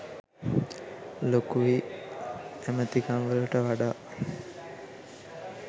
ලොකුයි ඇමතිකම්වලට වඩා.